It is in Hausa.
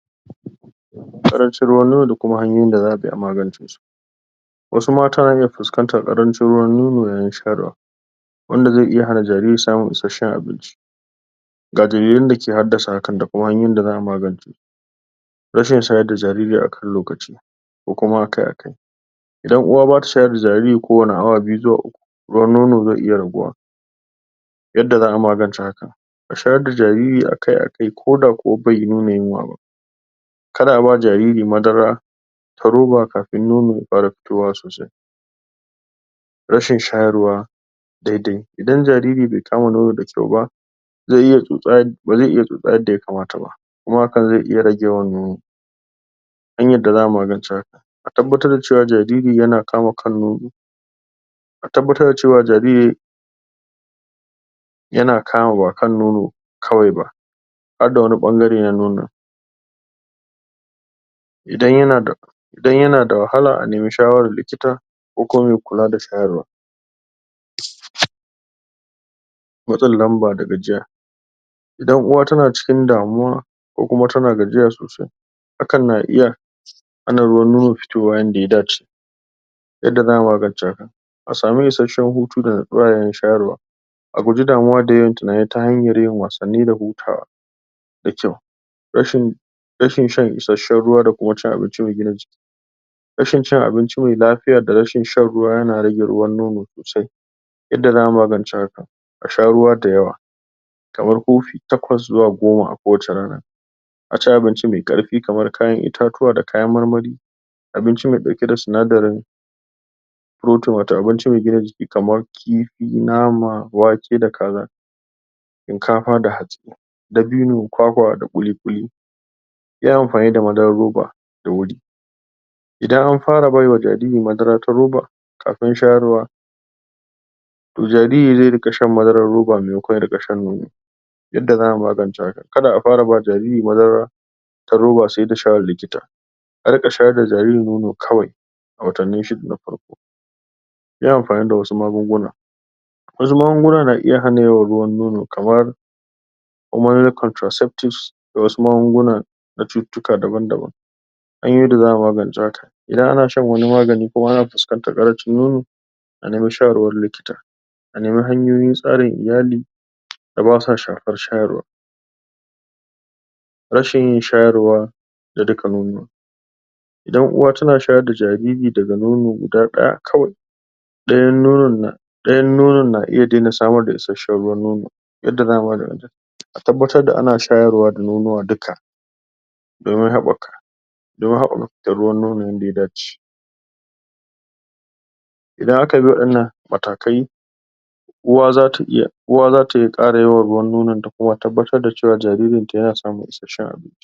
Karancin ruwan nono da kuma hanyoyin da za'a bi a magance su, wasu mata na fuskantar karancin ruwan nono yayin shayarwa, wanda zai iya hana jariri samun isasshen abinci, ga dalilan dake haddasa hakan da kuma hanyoyin da za'a magance su, rashin shayar da jariri akan lokaci ko kuma akai-akai, idan uwa bata shayar sa jariri kowanne awa biyu ko awa uku idan uwa bata shayar sa jariri kowanne awa biyu ko awa uku yadda za'a magance hakan a shayar da jarori akai-akai ko da kuwa bai nuna yunwa ba. Kar a ba jariri madara ta roba kafin nono ya fara fitowa sosai, rashin shayarwa daidai idan jariri bai kama nono da kyau ba, ba zai iya tsosa yadda ya kamata ba kuma hakan zai iya rage yawan nono, hanyar da za'a magance hakan, a tabbatar da cewa jariri yana kama kan nono a tabbatar da cewa jariri hanyar da za'a magance hakan, a tabbatar da cewa jariri yana kama har da wani bangare na nono, idan yana da wahala a nemi shawarar likita ko kuma mai kula da shayarwa, matsin lamba da gajiya, idan uwa tana cikin damuwa ko kuma tana gajiya sosai hakan na iya hana ruwan nono fitowa yanda ya dace, yadda za'a magance haka, a sami isasshen hutu da nitsuwa yayin shayarwa, a guji damuwa da yawan tunani ta hanyar yin wasanni da hutawa, da kyau rashin shan isasshen ruwa da kuma cin abinci mai gina jiki, rashin cin abinci mai lafiya da rashin shan ruwa yana rage ruwan nono sosai. Yadda za'a magance hakan, a sha ruwa da yawa kamar kofi takwas zuwa goma a kowacce rana, a ci abinci mai karfi kamar kayan itatuwa da kayan marmari abinci mai dauke sinadarin protein wato mai gina jiki, kamar kifi nama wake da kaza shinkafa da hatsi, dabino kwakwa da ƙulikuli. Yin amfani da madarar roba da wuri, idan an fara baiwa jariri madara ta roba kafin shayarwa, to jariri zai dinga shan madarar roba maimaikon ya ringa shan nono, to jariri zai dinga shan madarar roba maimaikon ya ringa shan nono, roba maimaikon ya ringa shan nono, a ringa shayar da jariri ruwan nono kawai a watanni shida na farko, yin amfani da wasu magunguna, wasu magunguna na iya rage ruwan nono kamar contraceptips da wasu magunguna na cututtuka daban-daban. Hanyoyin da za'a magance haka, idan a shan wani magani kuma ana fuskantar karancin nono a nemi shawarar likita, a nemi hanyoyin tsarin iyali da basa shafar shayarwa. Rashin shayarwa na duka nonuwa, idan uwa tana shayar da jarori da nono guda daya kawai dayan nonon na iya daina samar da isasshen ruwan nono, yanda za a magance hakan a tabbatar ana shayarwa da nonuwa duka domin habbaka fitar ruwan nono yanda ya dace idan aka bi wadannan matakai uwa zata iya kara ruwan nononta ta kuma tabbatar da cewa jariri yana samun isasshen abinci.